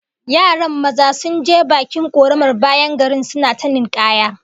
Yaran maza sun je bakin koramar bayan garin suna ta ninkaya